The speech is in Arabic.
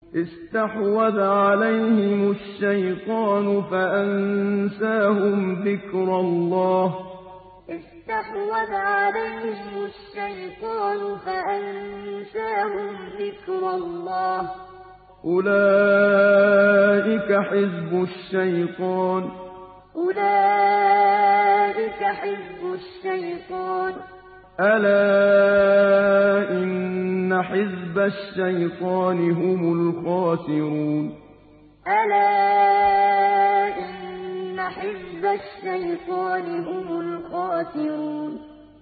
اسْتَحْوَذَ عَلَيْهِمُ الشَّيْطَانُ فَأَنسَاهُمْ ذِكْرَ اللَّهِ ۚ أُولَٰئِكَ حِزْبُ الشَّيْطَانِ ۚ أَلَا إِنَّ حِزْبَ الشَّيْطَانِ هُمُ الْخَاسِرُونَ اسْتَحْوَذَ عَلَيْهِمُ الشَّيْطَانُ فَأَنسَاهُمْ ذِكْرَ اللَّهِ ۚ أُولَٰئِكَ حِزْبُ الشَّيْطَانِ ۚ أَلَا إِنَّ حِزْبَ الشَّيْطَانِ هُمُ الْخَاسِرُونَ